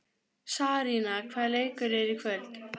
Sarína, hvaða leikir eru í kvöld?